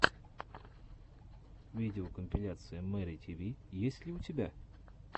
видеокомпиляция мэри тиви есть ли у тебя